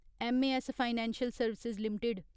M A S financial service limited